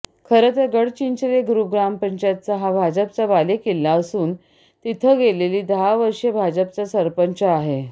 खरंतर गडचिंचले ग्रुप ग्रामपंचायत हा भाजपचा बालेकिल्ला असून तिथं गेली दहा वर्षे भाजपचा सरंपच आहे